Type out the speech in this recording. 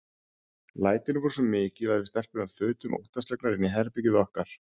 Lætin voru svo mikil að við stelpurnar þutum óttaslegnar inn í herbergið okkar.